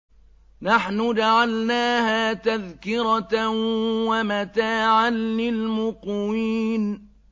نَحْنُ جَعَلْنَاهَا تَذْكِرَةً وَمَتَاعًا لِّلْمُقْوِينَ